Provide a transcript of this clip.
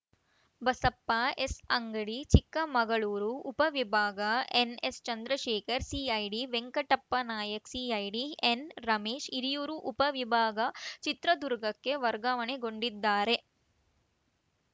ಬಸಪ್ಪ ಎಸ್‌ಅಂಗಡಿ ಚಿಕ್ಕಮಗಳೂರು ಉಪ ವಿಭಾಗ ಎನ್‌ಎಸ್‌ಚಂದ್ರಶೇಖರ್‌ CID Venkatappa Nayak CID ಎನ್‌ರಮೇಶ್‌ Hiriyur ಉಪ ವಿಭಾಗ ಚಿತ್ರದುರ್ಗಕ್ಕೆ ವರ್ಗಾವಣೆಗೊಂಡಿದ್ದಾರೆ